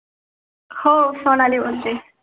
हो, सोनाली बोलते.